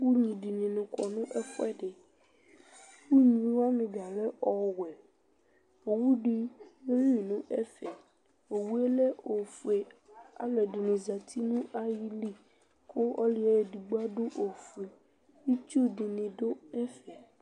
Unyi dɩnɩ kɔ nʋ ɛfʋɛdɩ Unyi wanɩ dza lɛ ɔwɛ Owu dɩ yeli nʋ ɛfɛ Owu yɛ ofue Alʋɛdɩnɩ zati nʋ ayili kʋ ɔlʋ yɛ edigbo adʋ ofue Itsu dɩnɩ dʋ ɛfɛ